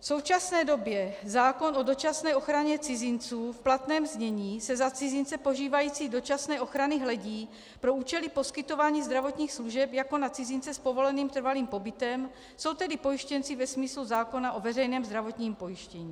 V současné době zákon o dočasné ochraně cizinců v platném znění se na cizince požívající dočasné ochrany hledí pro účely poskytování zdravotních služeb jako na cizince s povoleným trvalým pobytem, jsou tedy pojištěnci ve smyslu zákona o veřejném zdravotním pojištění.